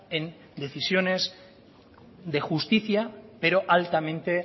en decisiones de justicia pero altamente